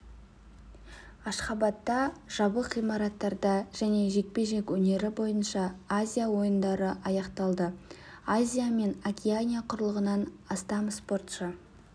ашхабадта жабық ғимараттарда және жекпе-жек өнері бойынша азия ойындары аяқталды азия мен океания құрлығынан астам спортшы